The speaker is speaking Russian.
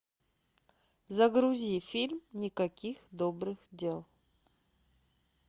загрузи фильм никаких добрых дел